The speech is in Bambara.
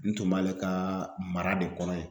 N tun b'ale ka mara de kɔnɔ yan